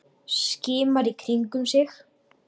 Skimar í kringum sig.